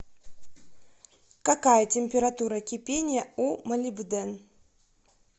какая температура кипения у молибден